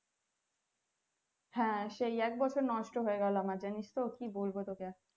হ্যাঁ সেই এক বছর নষ্ট হয়ে গেলো আমার জানিস তো কি বলবো তোকে